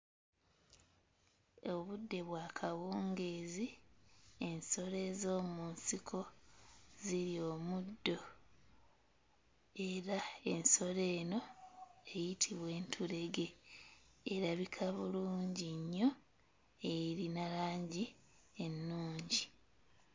Obudde bwa kawungeezi, ensolo ez'omu nsiko zirya omuddo era ensolo eno eyitibwa entulege. Erabika bulungi nnyo, erina langi ennungi.